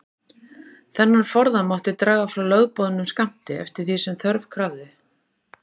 Þennan forða mátti draga frá lögboðnum skammti, eftir því sem þörf krafði.